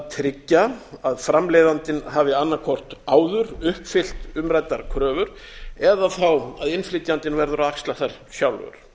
tryggja að framleiðandinn hafi annað hvort áður uppfyllt umræddar kröfur eða að innflytjandinn verður að axla þær sjálfur